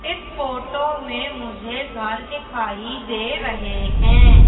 इस फोटो में मुझे घर दिखाई दे रहें हैं।